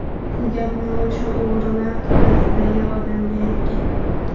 Bu gapni o‘sha o‘g‘rilar to‘dasidagi odamga aytgan.